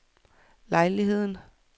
lejligheden